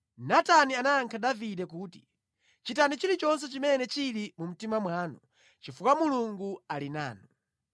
Natani anayankha Davide kuti, “Chitani chilichonse chimene chili mu mtima mwanu, chifukwa Mulungu ali nanu.”